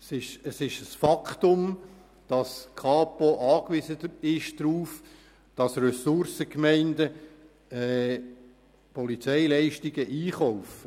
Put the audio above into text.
Es ist ein Faktum, dass die Kantonspolizei darauf angewiesen ist, dass Ressourcengemeinden Polizeileistungen einkaufen.